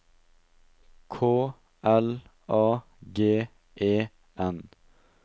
K L A G E N